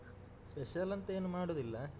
Special ಅಂತ ಏನು ಮಾಡುದಿಲ್ಲ.